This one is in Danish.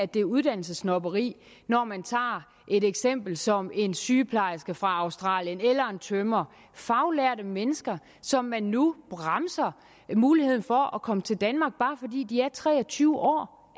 det er uddannelsessnobberi når man tager et eksempel som en sygeplejerske fra australien eller en tømrer faglærte mennesker som man nu bremser i muligheden for at komme til danmark bare fordi de er tre og tyve år